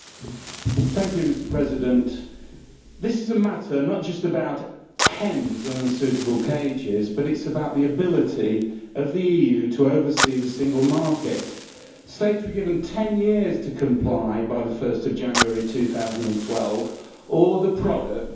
Mr President, this is not just a matter about hens in unsuitable cages, but it is about the ability of the EU to oversee the single market. States were given 10 years to comply by 1 January 2012 or the product would be illegal.